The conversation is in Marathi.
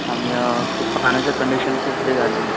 आणि खूप फायनान्शिअल कंडिशन खूप हे झालेली